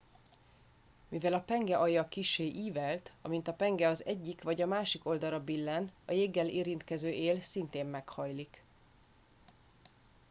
mivel a penge alja kissé ívelt amint a penge az egyik vagy a másik oldalra billen a jéggel érintkező él szintén meghajlik